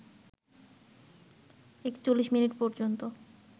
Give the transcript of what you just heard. ৪১ minute পর্যন্ত